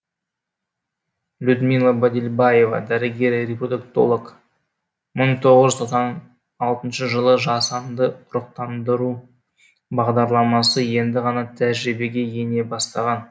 людмила бадельбаева дәрігер репродуктолог бір мың тоғыз жүз тоқсан алтыншы жылы жасанды ұрықтандыру бағдарламасы енді ғана тәжірибеге ене бастаған